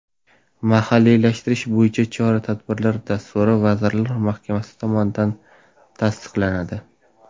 Mahalliylashtirish bo‘yicha chora-tadbirlar dasturi Vazirlar Mahkamasi tomonidan tasdiqlanadi.